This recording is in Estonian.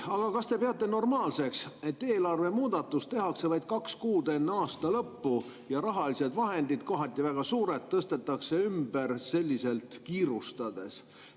Aga kas te peate normaalseks, et eelarvemuudatus tehakse vaid kaks kuud enne aasta lõppu ja rahalised vahendid, kohati väga suured, tõstetakse ümber kiirustades?